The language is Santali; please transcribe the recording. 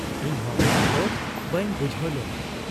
ᱤᱧᱦᱚᱸ ᱢᱟᱬᱟᱝ ᱫᱚ ᱵᱟᱹᱧ ᱵᱩᱡᱷᱟᱹᱣ ᱞᱮᱱᱟ ᱾